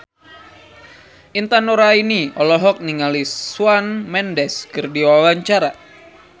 Intan Nuraini olohok ningali Shawn Mendes keur diwawancara